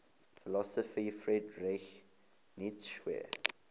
philosopher friedrich nietzsche